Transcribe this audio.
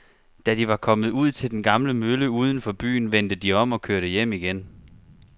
Da de var kommet ud til den gamle mølle uden for byen, vendte de om og kørte hjem igen.